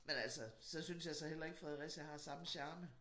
Men altså synes jeg så heller ikke Fredericia har samme charme